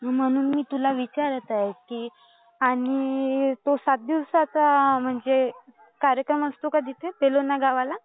म्हणून मी तुला विचारात आहे आणि सात दिवसांचं म्हणजे कार्यक्रम असतो का तिथे? सोलोना गावाला?